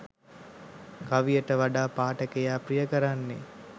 කවියට වඩා පාඨකයා ප්‍රිය කරන්නේ